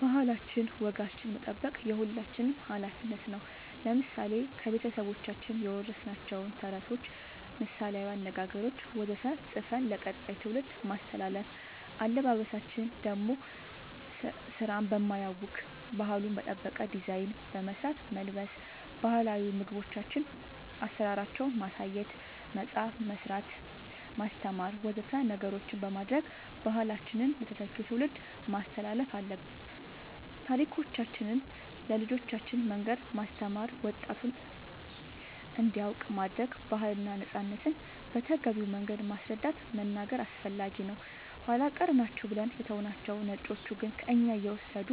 ባህላችን ወጋችን መጠበቅ የሁላችንም አላፊነት ነው ለምሳሌ ከቤተሰቦቻችን የወረስናቸውን ተረቶች ምሳላዊ አነገገሮች ወዘተ ፅፈን ለቀጣይ ትውልድ ማስተላለፍ አለበበሳችን ደሞ ስራን በማያውክ ባህሉን በጠበቀ ዲዛይን በመስራት መልበስ ባህላዊ ምግቦቻችን አሰራራቸውን ማሳየት መፅአፍ መስራት ማስተማር ወዘተ ነገሮች በማድረግ ባህላችንን ለተተኪው ትውልድ ማስተላለፍ አለብን ታሪኮቻችን ለልጆቻን መንገር ማስተማር ወጣቱም እንዲያውቅ ማረግ ባህልና ነፃነትን በተገቢው መንገድ ማስረዳት መናገር አስፈላጊ ነው ኃላ ቀር ናቸው ብለን የተውናቸው ነጮቹ ግን ከእኛ እየወሰዱ